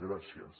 gràcies